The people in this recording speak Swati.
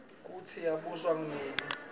kutsi yena wabusa nini